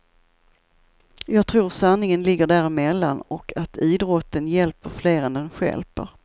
Jag tror sanningen ligger däremellan och att idrotten hjälper fler än den stjälper.